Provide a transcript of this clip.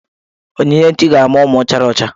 Onyinyechi ga-amụ ụmụ chara ọcha.